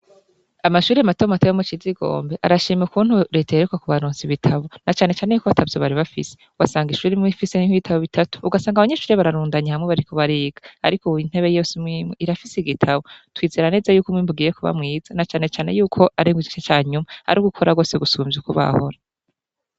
Amashure mato mato yo mu Cizigombe, arashima ukuntu leta iheruka kubaronsa ibitabo, na cane cane yuko atavyo bari bafise; wasanga ishure imwe ifise nk'ibitabo bitatu, ugasanga abanyeshure bararundanye hamwe bariko bariga; ariko ubu intebe yose imwe imwe irafise igitabo. Twizera neza yuko umwimbu ugiye kuba mwiza na cane cane yuko ari mu gice ca nyuma, ari ugukora rwose gusumvya uko bahora.